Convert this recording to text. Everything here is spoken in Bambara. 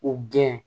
U gɛn